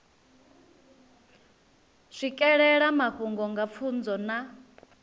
swikelela mafhungo nga pfunzo na